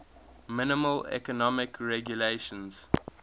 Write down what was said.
minimal economic regulations